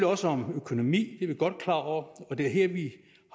også om økonomi det er vi godt klar over og det er her vi